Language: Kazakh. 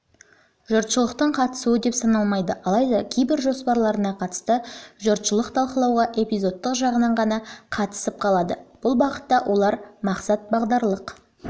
жұртшылықтың қатысуы деп саналмайды алайда кейбір жоспарларына қатысты жұртшылық талқылауға эпизодтық жағынан ғана қатысып қалады бұл бағытта олар мақсат-бағдарлық